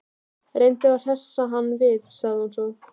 Reyndu að hressa hann við- sagði hún svo.